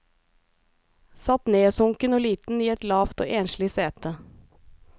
Satt nedsunken og liten i et lavt og enslig sete.